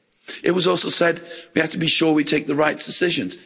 It was also said we have to be sure we take the right decisions.